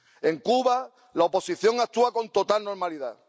En Cuba, la oposición actúa con total normalidad.